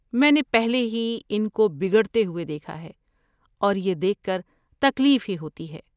میں نے پہلے ہی ان کو بگڑتے ہوتے دیکھا ہے اور یہ دیکھ کر تکلیف ہی ہوتی ہے۔